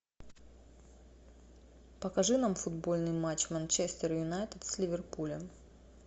покажи нам футбольный матч манчестер юнайтед с ливерпулем